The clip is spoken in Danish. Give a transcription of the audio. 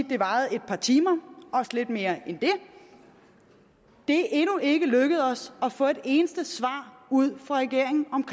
det varede et par timer også lidt mere end det det er endnu ikke lykkedes os at få et eneste svar ud af regeringen om